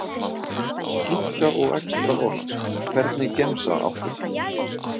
Skinku og extra ost Hvernig gemsa áttu?